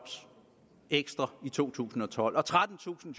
i to tusind og tolv og trettentusind